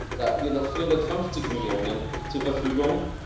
Da hatten wir noch 450 Millionen zur Verfügung.